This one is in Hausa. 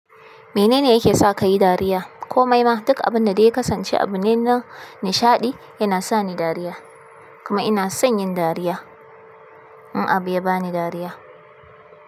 Menene yake sa ka yi dariya? Komai ma duk abinda dai ya kasance abu ne na nishaɗi, yana sa ni dariya. Kuma ina son yin dariya in abu ya bani dariya.